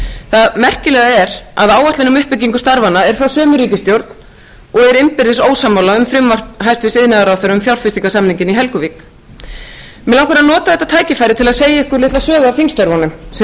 það merkilega er að áætlun um uppbyggingu starfanna er frá sömu ríkisstjórn og er innbyrðis ósammála um frumvarp hæstvirts iðnaðarráðherra um fjárfestingarsamninginn í helguvík mig langar að nota þetta tækifæri til að segja ykkur litla sögu af þingstörfunum sem sýna að